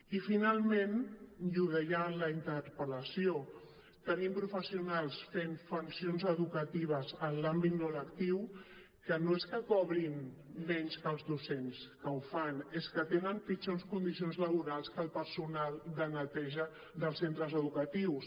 i finalment i ho deia en la interpel·lació tenim professionals fent funcions educatives en l’àmbit no lectiu que no es que cobrin menys que els docents que ho fan és que tenen pitjors condicions laborals que el personal de neteja dels centres educatius